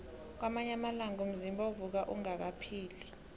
kwamanye amalanga umzimba uvuka unghanghabele